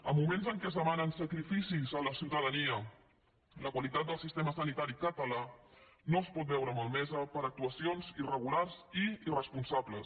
en moments en què es demanen sacrificis a la ciutadania la qualitat del sistema sanitari català no es pot veure malmesa per actuacions irregulars i irresponsables